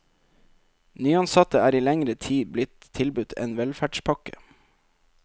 Nyansatte er i lengre tid blitt tilbudt en velferdspakke.